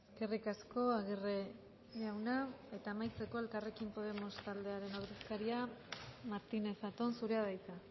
eskerrik asko aguirre jauna eta amaitzeko elkarrekin podemos taldearen ordezkaria martínez zatón zurea da hitza